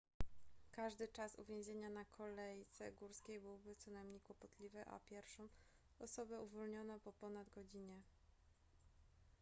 każdy czas uwięzienia na kolejce górskiej byłby co najmniej kłopotliwy a pierwszą osobę uwolniono po ponad godzinie